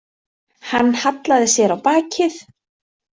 Hann hallaði sér á bakið.